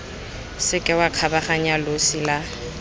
seke wa kgabaganya losi la